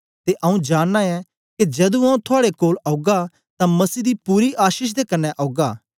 ते आऊँ जाननां ऐं के जदू आऊँ थुआड़े कोल औगा तां मसीह दी पूरी आशीष दे कन्ने औगा